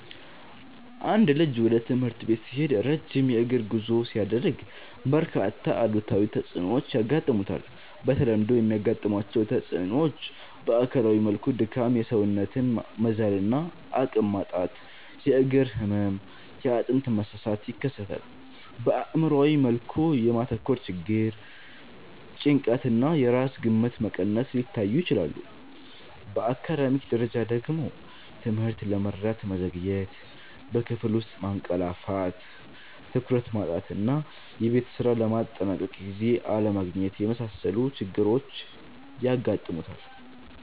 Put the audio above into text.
አንድ ልጅ ወደ ትምህርት ቤት ሲሄድ ረጅም የእግር ጉዞ ሲያደርግ፣ በርካታ አሉታዊ ተጽዕኖዎች ያጋጥሙታል። በተለምዶ የሚያጋጥሟቸው ተጽዕኖዎች በአካላዊ መልኩ ድካም፣ የሰውነት መዛል እና አቅም ማጣት፣ የእግር ህመም፣ የአጥንት መሳሳት ይከሰታል። በአእምሯዊ መልኩ የማተኮር ችግር፣ ጭንቀት እና የራስ ግምት መቀነስ ሊታዩ ይችላሉ። በአካዳሚክ ደረጃ ደግሞ ትምህርትን ለመረዳት መዘግየት፣ በክፍል ውስጥ ማንቀላፋት፣ ትኩረት ማጣት እና የቤት ስራ ለማጠናቀቅ ጊዜ አለማግኘት የመሳሰሉ ችግሮች ያጋጥሙታል።